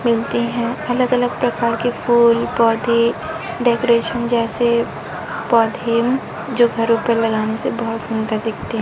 मिलते हैं अलग अलग प्रकार के फूल पौधे डेकोरेशन जैसे पौधे जो घर पर लगाने से बहोत सुंदर दिखते--